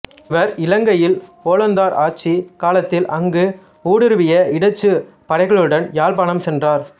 இவர் இலங்கையில் ஒல்லாந்தர் ஆட்சிக் காலத்தில் அங்கு ஊடுருவிய இடச்சுப் படைகளுடன் யாழ்ப்பாணம் சென்றார்